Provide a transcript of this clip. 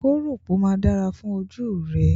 Kóròpó máa dára fún ojú rẹ.